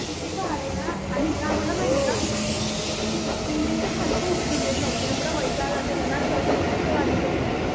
किती भारी ना.आणि इथं आम्हाला माहितीये का बिल्डिंगच्या खालीपण उतरू देतं नव्हते. एवढा वैताग आलेला ना. घर नकोस वाटत होतं.